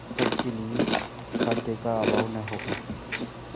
तब तक के लिए खाद्य का अभाव न होगा